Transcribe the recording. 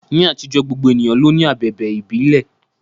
Ní àtijọ́, gbogbo ènìyàn ló ní abẹ̀bẹ̀ ìbílẹ̀.